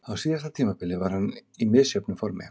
Á síðasta tímabili var hann í misjöfnu formi.